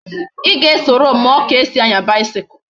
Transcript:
I ga esoro m muo ka esi anya bicycle